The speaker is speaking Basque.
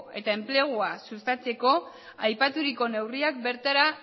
eta enplegua sustatzeko aipaturiko neurriak bertara